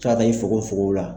Tua da i fogonfogonw la.